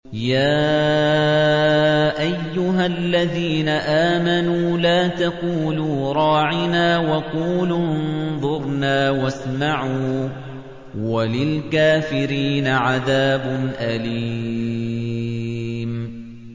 يَا أَيُّهَا الَّذِينَ آمَنُوا لَا تَقُولُوا رَاعِنَا وَقُولُوا انظُرْنَا وَاسْمَعُوا ۗ وَلِلْكَافِرِينَ عَذَابٌ أَلِيمٌ